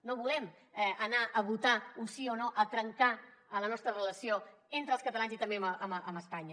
no volem anar a votar un sí o no a trencar la nostra relació entre els catalans i també amb espanya